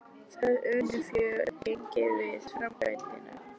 Það unnu fjögur gengi við framkvæmdirnar.